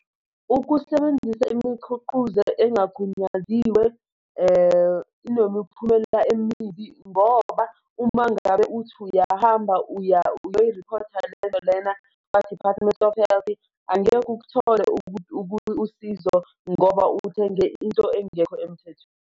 Ukusebenzisa imikhuquzo engagunyaziwe inemiphumela emibi ngoba uma ngabe uthi uyahamba uyoriphotha lento lena kwa-Department of Health angeke uk'thole usizo ngoba uthenge into engekho emthethweni.